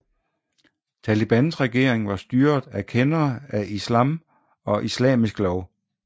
Talibans regering var styret af kendere af Islam og islamisk lov